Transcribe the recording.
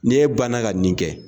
Ni e banna ka nin kɛ.